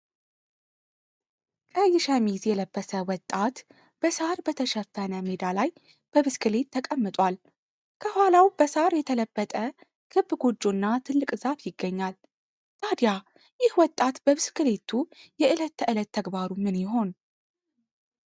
ቀይ ሸሚዝ የለበሰ ወጣት በሳር በተሸፈነ ሜዳ ላይ በብስክሌት ላይ ተቀምጧል። ከኋላው በሳር የተለበጠ ክብ ጎጆና ትልቅ ዛፍ ይገኛል። ታዲያ ይህ ወጣት በብስክሌቱ የዕለት ተዕለት ተግባሩ ምን ይሆን?